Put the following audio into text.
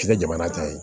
K'i kɛ jamana ta ye